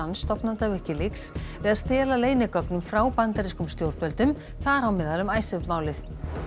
stofnanda Wikileaks við að stela leynigögnum frá bandarískum stjórnvöldum þar á meðal um Icesave málið